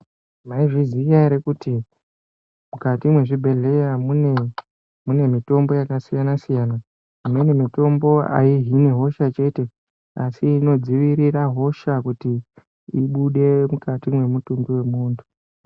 Mai zviziya ere kuti mukati mwe zvibhedhleya mune mitombo yaka siyana siyana imweni mitombo ayi hini hosha chete asi ino dzivirira hosha kuti ibude mukati mwe mutumbi we muntu.